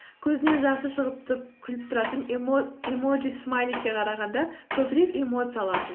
көзінен жасы шығып тұрып күліп тұратын эмоджи смайликке қарағанда көбірек эмоция аласыз